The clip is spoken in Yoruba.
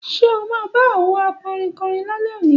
Ṣe ọ ma ba àwọn akọrin korin lálé òní